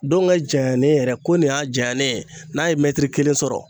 Ndɔnkɛ janyalen yɛrɛ ko nin y'a janyalen ye , ko nin ye kelen sɔrɔ